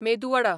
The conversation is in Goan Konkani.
मेदू वडा